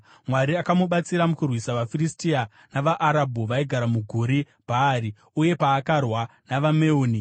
Mwari akamubatsira mukurwisa vaFiristia navaArabhu vaigara muGuri Bhaari uye paakarwa navaMeuni.